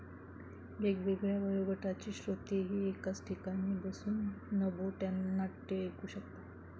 वेगवेगळ्या वयोगटाचे श्रोतेही एकाच ठिकाणी बसून नभोनाट्य ऐकू शकतात.